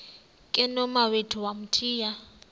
ke nomawethu wamthiya